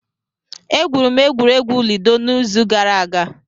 Egwuru m egwuregwu ludo n'izu gara aga.